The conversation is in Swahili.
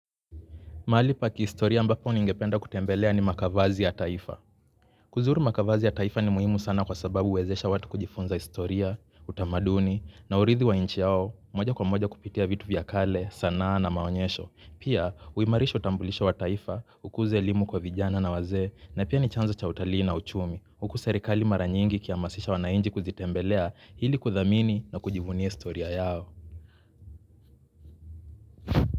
Mahali pa kihistoria ambapo niningependa kutembelea ni makavazi ya taifa. Kuzuru makavazi ya taifa ni muhimu sana kwa sababu huwezesha watu kujifunza historia, utamaduni, na uridhi wa nchi yao, moja kwa moja kupitia vitu vya kale, sana na maonyesho. Pia, uimarisho utambulisho wa taifa, ukuze elimu kwa vijana na wazee, na pia ni chanzo cha utalii na uchumi, huku serikali mara nyingi kiamasisha wananchi kuzitembelea ili kuthamini na kujivunia historia yao.